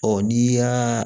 Ɔ n'i y'aa